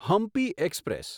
Hampi express